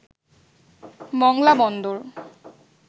Mongla Bandar